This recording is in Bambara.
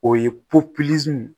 O ye